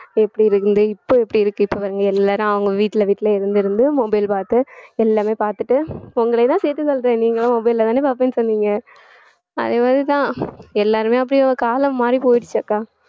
எப்படி இருந்து இப்ப எப்படி இருக்கு இப்ப பாருங்க எல்லாரும் அவங்க வீட்டுல வீட்டுல இருந்திருந்து mobile பார்த்து எல்லாமே பாத்துட்டு உங்களையும்தான் சேர்த்து சொல்றேன் நீங்களும் mobile ல தானே பாப்பேன்னு சொன்னீங்க அதே மாதிரிதான் எல்லாருமே அப்படியே காலம் மாறி போயிடுச்சு அக்கா